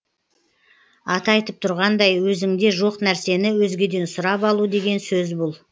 аты айтып тұрғандай өзіңде жоқ нәрсені өзгеден сұрап алу деген сөз бұл